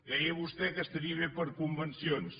deia vostè que estaria bé per a convencions